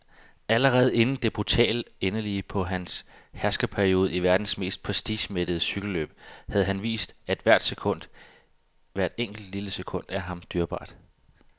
Allerede inden det brutale endeligt på hans herskerperiode i verdens mest prestigemættede cykelløb havde han vist, at hvert enkelt, lille sekund er ham dyrebart.